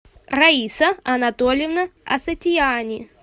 раиса анатольевна асатиани